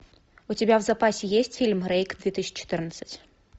у тебя в запасе есть фильм рейк две тысячи четырнадцать